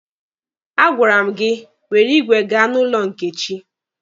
A gwara m gị were igwe gaa n'ụlọ Nkechi!